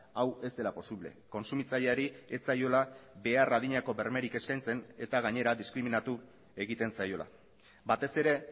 hau ez dela posible kontsumitzaileari ez zaiola behar adineko bermerik eskaintzen eta gainera diskriminatu egiten zaiola batez ere